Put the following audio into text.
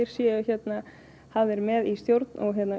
séu hafðir með í stjórn